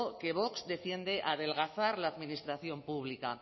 que vox defiende adelgazar la administración pública